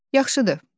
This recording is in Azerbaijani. Yaxşıdır.